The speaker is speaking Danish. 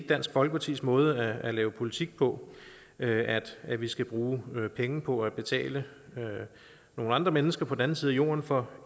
dansk folkepartis måde at lave politik på at at vi skal bruge penge på at betale nogle andre mennesker på den anden side jorden for